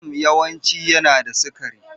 Jam yawanci yana da sukari.